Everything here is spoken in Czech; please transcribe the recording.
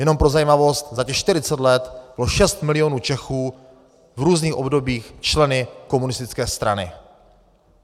Jenom pro zajímavost, za těch 40 let bylo šest milionů Čechů v různých obdobích členy komunistické strany.